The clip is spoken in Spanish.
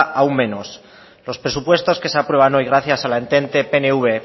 aún menos los presupuestos que se aprueban hoy gracias al entente pnv